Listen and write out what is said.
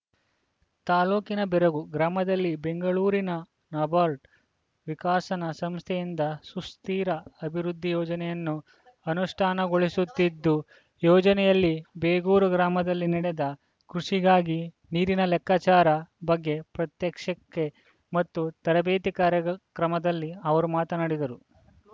ತಾಲೂಕಿನ ಬೇರಗೂ ಗ್ರಾಮದಲ್ಲಿ ಬೆಂಗಳೂರಿನ ನಬಾರ್ಡ್‌ ವಿಕಸನ ಸಂಸ್ಥೆಯಿಂದ ಸುಸ್ಥಿರ ಅಭಿವೃದ್ಧಿ ಯೋಜನೆಯನ್ನು ಅನುಷ್ಠಾನಗೊಳಿಸುತ್ತಿದ್ದು ಯೋಜನೆಯಲ್ಲಿ ಬೇಗೂರು ಗ್ರಾಮದಲ್ಲಿ ನಡೆದ ಕೃಷಿಗಾಗಿ ನೀರಿನ ಲೆಕ್ಕಾಚಾರ ಬಗ್ಗೆ ಪ್ರಾತ್ಯಕ್ಷ ಕೆ ಮತ್ತು ತರಬೇತಿ ಕಾರ್ಯಕ್ರಮದಲ್ಲಿ ಅವರು ಮಾತನಾಡಿದರು